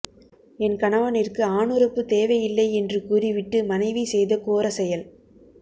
என் கணவனிற்கு ஆணுறுப்பு தேவை இல்லை என்று கூறி விட்டு மனைவி செய்த கோர செயல்